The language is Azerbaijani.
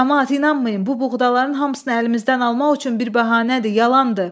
Camaat inanmayın, bu buğdaların hamısını əlimizdən almaq üçün bir bəhanədir, yalandır!